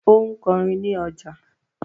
Ó ń kọrin ní ọjà